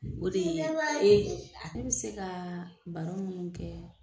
O dee ale bi se kaa baro mun kɛ